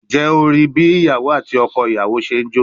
Njẹ o rii bi iyawo ati ọkọ iyawo ṣe n jo?